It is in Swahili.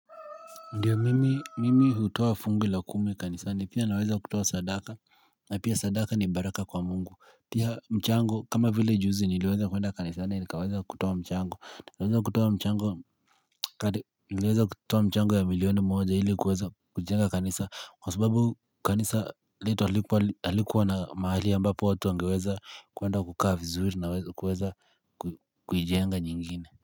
Ndiyo mimi hutoa fungu la kumi kanisani pia naweza kutoa sadaka na pia sadaka ni baraka kwa Mungu pia mchango kama vile juzi niliweza kuenda kanisani nikaweza kutoa mchango niliweza kutoa mchango ya milioni moja ili kuweza kujenga kanisa kwa subabu kanisa letu halikuwa na mahali ambapo watu wangeweza kuenda kukaa vizuri na kuweza kuijenga nyingine.